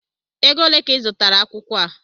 Égo olé ka I zụtara akwụkwọ a?